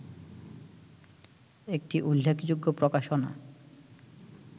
একটি উল্লেখযোগ্য প্রকাশনা